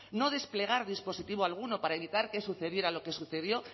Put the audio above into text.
no desplegar dispositivo alguno para evitar que sucediera lo que sucedió